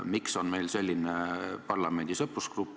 Miks on meil selline parlamendi sõprusgrupp?